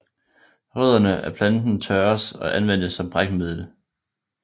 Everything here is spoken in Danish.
Rødderne af planten tørres og anvendes som brækmiddel